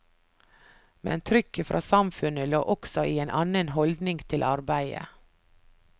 Men trykket fra samfunnet lå også i en annen holdning til arbeidet.